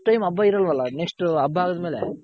next time ಹಬ್ಬ ಇರಲ್ವಲ್ಲ next ಹಬ್ಬ ಆದ್ಮೇಲೆ